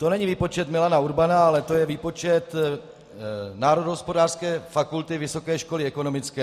To není výpočet Milana Urbana, ale to je výpočet Národohospodářské fakulty Vysoké školy ekonomické.